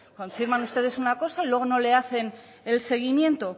confirman ustedes una cosa y luego no le hacen el seguimiento